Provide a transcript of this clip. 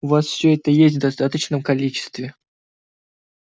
у вас всё это есть в достаточном количестве